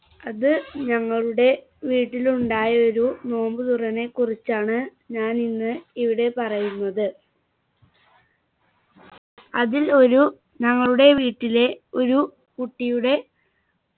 അത് ഞങ്ങളുടെ വീട്ടിലുണ്ടായ ഒരു നോമ്പു തുറനെ കുറിച്ചാണ് ഞാനിന്ന് ഇവിടെ പറയുന്നത് അതിൽ ഒരു ഞങ്ങളുടെ വീട്ടിലെ ഒരു കുട്ടിയുടെ